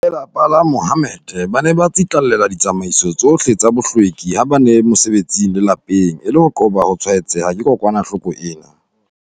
Ba lelapa la Mahommed ba ne ba tsitlallela ditsamaiso tsohle tsa bohlweki ha ba le mosebetsing le lapeng, e le ho qoba ho tshwaetseha ke kokwanahloko ena.